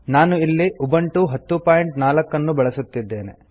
ನಾನು ಇಲ್ಲಿ ಉಬಂಟು 1004 ಅನ್ನು ಬಳಸುತ್ತಿದ್ದೇನೆ